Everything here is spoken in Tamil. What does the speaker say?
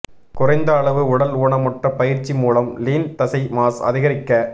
குறைந்த அளவு உடல் ஊனமுற்ற பயிற்சி மூலம் லீன் தசை மாஸ் அதிகரிக்க